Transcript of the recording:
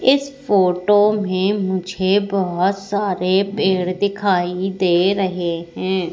इस फोटो में मुझे बहोत सारे पेड़ दिखाई दे रहे हैं।